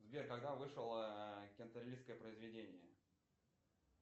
сбер когда вышел кентервильское произведение